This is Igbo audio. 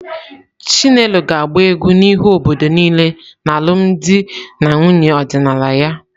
Chinelo ga-agba egwu n'ihu obodo niile n'alụmdi na nwunye ọdịnala ya.